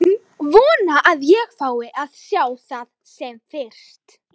Vona að ég fái að sjá það sem fyrst.